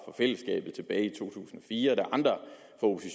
fællesskabet tilbage i to tusind og